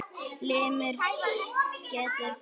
Limur getur átt við